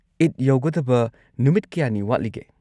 ꯏꯗ ꯌꯧꯒꯗꯕ ꯅꯨꯃꯤꯠ ꯀꯌꯥꯅꯤ ꯋꯥꯠꯂꯤꯒꯦ꯫